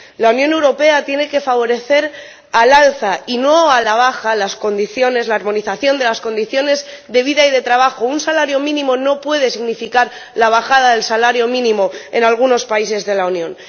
La Unión Europea tiene que favorecer, al alza y no a la baja, la armonización de las condiciones de vida y de trabajo un salario mínimo no puede significar la bajada del salario mínimo en algunos países de la Unión.